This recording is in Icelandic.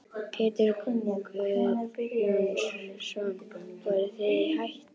Pétur Guðjónsson: Voruð þið í hættu?